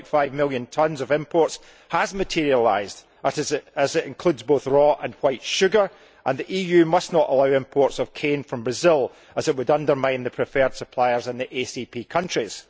3.5 million tonnes of imports has materialised, as it includes both raw and white sugar, and the EU must not allow imports of cane from Brazil as it would undermine the preferred suppliers in the ACP countries.